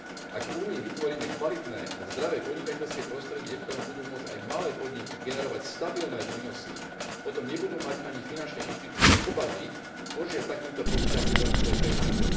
Ak v Únii vytvoríme kvalitné a zdravé podnikateľské prostredie, v ktorom budú môcť aj malé podniky generovať stabilné výnosy, potom nebudú mať ani finančné inštitúcie obavy požičať takýmto podnikateľom svoje peniaze.